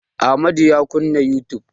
Amadu ya kunna youtube.